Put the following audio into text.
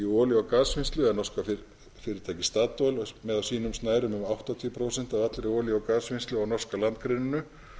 olíu og gasvinnslu er norska fyrirtækið statoil með á sínum snærum um áttatíu prósent af allri olíu og gasvinnslu á norska landgrunninu